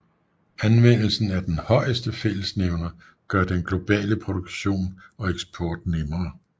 Anvendelse af den højeste fællesnævner gør den globale produktion og eksport nemmere